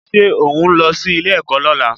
Ṣé òhún lọ sí ilé-ẹ̀kọ́ lọ́la?